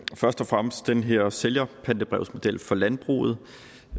først og fremmest den her sælgerpantebrevsmodel for landbruget